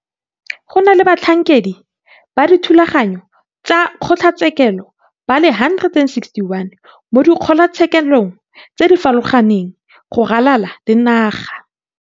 Go na le batlhankedi ba dithulaganyo tsa kgotlatshekelo ba le 161 mo dikgotlatshekelong tse di farologaneng go ralala le naga.